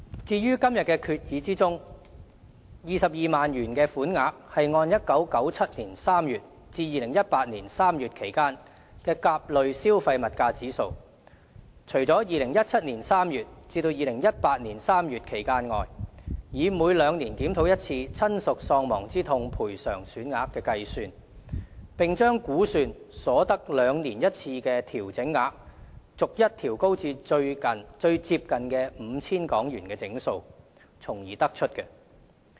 至於在今天的決議中的22萬元款額，是按1997年3月至2018年3月期間的甲類消費物價指數，除了2017年3月至2018年3月期間外，以每兩年檢討一次親屬喪亡之痛賠償款額的計算，並把估算所得兩年一次的調整額，逐一調高至最接近的 5,000 元整數從而得出。